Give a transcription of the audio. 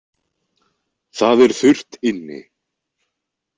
Það er þurrt inni